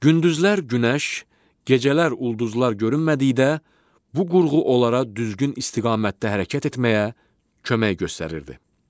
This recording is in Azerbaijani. Gündüzlər Günəş, gecələr ulduzlar görünmədikdə, bu qurğu onlara düzgün istiqamətdə hərəkət etməyə kömək göstərirdi.